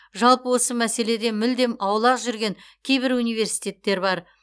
жалпы осы мәселеден мүлдем аулақ жүрген кейбір университеттер бар